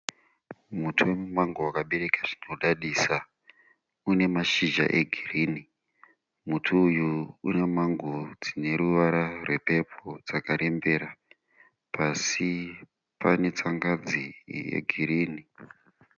Muti womumango wakabereka zvinodadisa. Une mashizha egirini. Muti uyu une mango dzine ruvara rwepepo dzakarembera. Pasi pane tsangadzi yegirini.